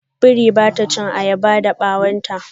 Biri ba ta chin ayaba da bawon ta.